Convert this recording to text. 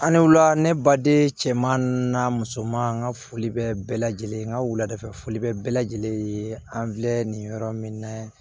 An ne wulila ne baden cɛman n'a musoman n ka foli bɛ bɛɛ lajɛlen ka wuladafɛfuli bɛ bɛɛ lajɛlen ye an filɛ nin yɔrɔ min na